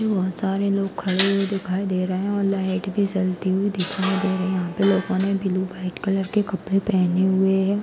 बहोत सारे लोग खड़े हुए दिखाई दे रहे हैं और लाइट भी जलती हुई दिखाई दे रही है। यहाँ पे लोग ब्लू और व्हाइट कलर के कपड़े पहने हुए हैं।